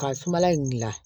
Ka sumala in gilan